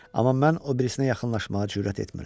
Amma mən o birisinə yaxınlaşmağa cürət etmirəm.